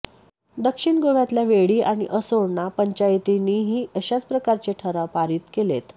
दक्षिण गोव्यातल्या वेळीं आणि असोळणा पंचायतींनीही अशाच प्रकारचे ठराव पारित केलेत